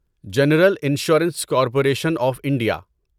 general insurance corporation of India